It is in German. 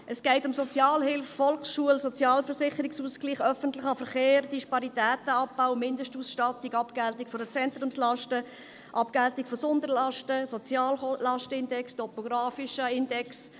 Es geht um Sozialhilfe, Volksschule, Sozialversicherungsausgleich, öffentlichen Verkehr, Disparitätenabbau, Mindestausstattung, Abgeltung der Zentrumslasten, Abgeltung von Sonderlasten, Soziallastenindex, topografischen Index.